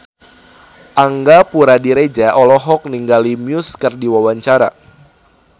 Angga Puradiredja olohok ningali Muse keur diwawancara